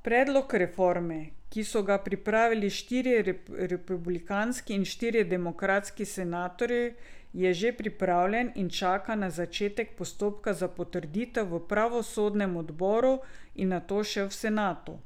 Predlog reforme, ki so ga pripravili štirje republikanski in štirje demokratski senatorji, je že pripravljen in čaka na začetek postopka za potrditev v pravosodnem odboru in nato še v senatu.